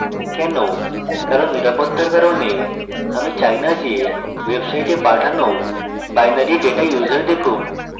কেন কারণ নিরাপত্তার কারণে আমি চাই না যে website পাঠানো binary data user দেখুক